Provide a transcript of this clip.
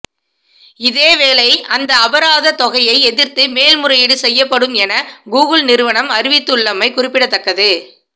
இதேவேளை இந்த அபராத தொகையை எதிர்த்து மேல் முறையீடு செய்யப்படும் என கூகுள் நிறுவனம் அறிவித்துள்ளமை குறிப்பிடத்தக்கது